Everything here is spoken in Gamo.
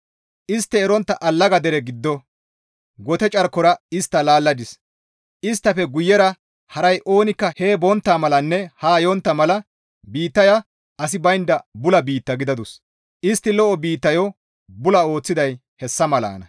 Istti erontta allaga dere giddo gote carkon istta laalladis; isttafe guyera haray oonikka hee bontta malanne haa yontta mala biittaya asi baynda bula biitta gidadus; istti lo7o biittayo bula ooththiday hessa malanna.»